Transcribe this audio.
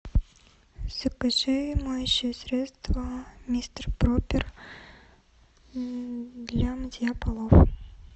закажи моющее средство мистер пропер для мытья полов